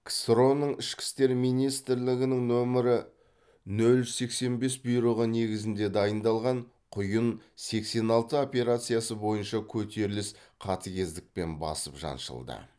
ксро ның ішкі істер министрлігінің нөмірі нөл үш сексен бес бұйрығы негізінде дайындалған құйын сексен алты операциясы бойынша көтеріліс қатыгездікпен басып жаншылды